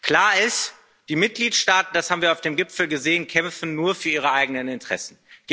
Klar ist Die Mitgliedstaaten das haben wir auf dem Gipfel gesehen kämpfen nur für ihre eigenen Interessen.